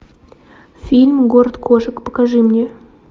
фильм город кошек покажи мне